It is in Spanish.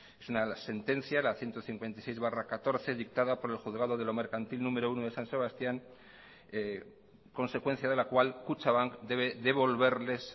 es una sentencia la ciento cincuenta y seis barra catorce dictada por el juzgado de lo mercantil número uno de san sebastián consecuencia de la cual kutxabank debe devolverles